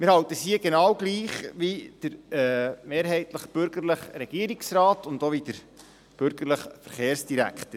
Wir halten es hier genau gleich wie der mehrheitlich bürgerliche Regierungsrat und auch wie der bürgerliche Verkehrsdirektor: